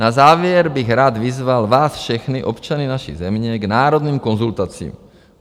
Na závěr bych rád vyzval vás všechny občany naší země k národním konzultacím.